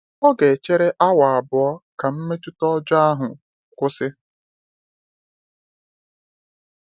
Ọ ga-echere awa abụọ ka mmetụta ọjọọ ahụ kwụsị.